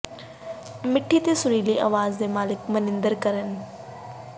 ਮਿੱਠੀ ਤੇ ਸੁਰੀਲੀ ਆਵਾਜ਼ ਦੇ ਮਾਲਕ ਮਨਿੰਦਰ ਘਰ ਨੰ